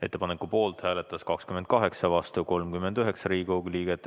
Ettepaneku poolt hääletas 28 ja vastu 39 Riigikogu liiget.